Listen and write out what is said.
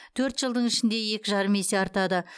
төрт жылдың ішінде екі жарым есе артады